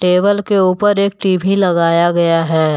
Table के ऊपर एक टी_वी लगाया गया है।